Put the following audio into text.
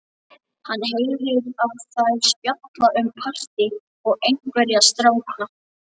Hann heyrir að þær spjalla um partí og einhverja stráka.